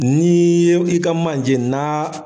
N'ii ye i ka manje n'a